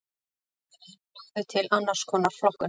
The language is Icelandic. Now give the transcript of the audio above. aðrir lögðu til annars konar flokkun